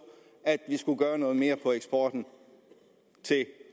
at vi skulle gøre noget mere for eksporten til